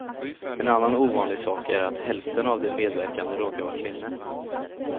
En annan ovanlig sak är att hälften av de medverkande råkar vara kvinnor.